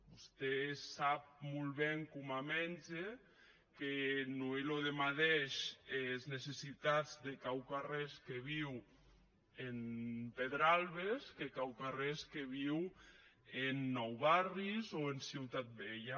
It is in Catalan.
vosté sap molt ben coma mètge que non son es madeishes es necessitats de quauquarrés que viu en pedralbes qu’es de quauquarrés que viu en nou barris o en ciutat vella